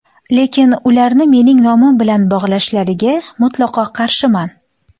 Lekin, ularni mening nomim bilan bog‘lashlariga mutlaqo qarshiman.